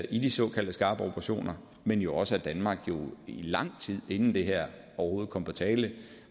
i de såkaldte skarpe operationer men jo også at danmark lang tid inden det her overhovedet kom på tale